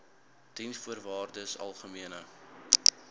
diensvoorwaardesalgemene